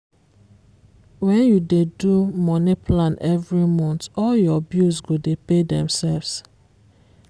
when you dey do money plan every month all your bills go dey pay themselves.